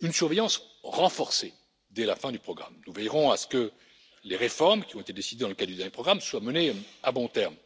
une surveillance renforcée dès la fin du programme. Nous veillerons à ce que les réformes qui ont été décidées dans le cadre du dernier programme soient menées à bon terme.